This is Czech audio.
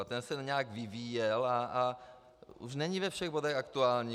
A ten se nějak vyvíjel a už není ve všech bodech aktuální.